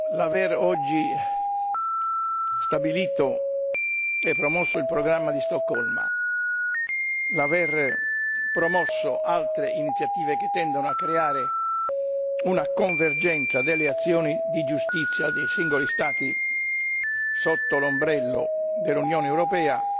L'aver oggi stabilito e promosso il programma di Stoccolma, l'aver promosso altre iniziative che tendono a creare una convergenza delle azioni di giustizia dei singoli Stati sotto l'ombrello dell'Unione europea